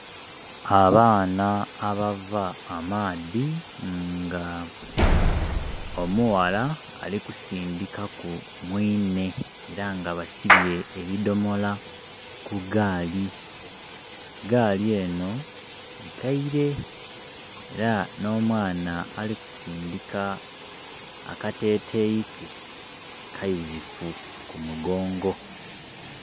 Abaana abava amaadhi nga omughala alikusindika ku mwinne era nga basibye ebidomola ku gaali. Gaali eno nkeire era no mwana ali kusindika akatetei ke kayuzifu ku mugongo.